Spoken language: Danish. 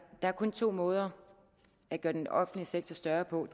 er kun to måder at gøre den offentlige sektor større på